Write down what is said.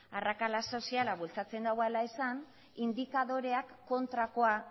arrakala soziala bultzen duela esan indikadoreak kontrakoa